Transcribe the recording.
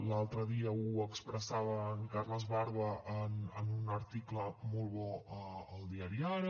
l’altre dia ho expressava en carles barba en un article molt bo al diari ara